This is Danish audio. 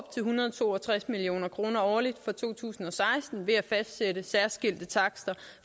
hundrede og to og tres million kroner årligt fra to tusind og seksten ved at fastsætte særskilte takster